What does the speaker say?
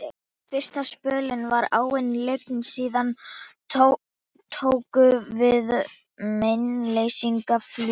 Fyrsta spölinn var áin lygn, síðan tóku við meinleysislegar flúðir.